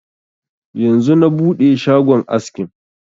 Yanzu na buɗe shagon askin